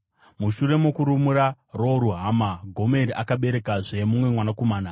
Mushure mokurumura Ro-Ruhama, Gomeri akaberekazve mumwe mwanakomana.